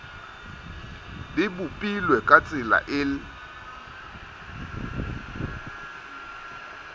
di bopilwe ka tsela e